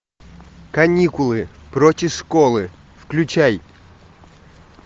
каникулы против школы включай